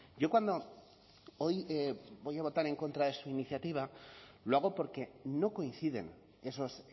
yo cuando hoy voy a votar en contra de su iniciativa lo hago porque no coinciden esos